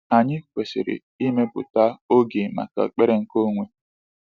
Anyị kwesịrị ịmepụta oge maka ekpere nke onwe.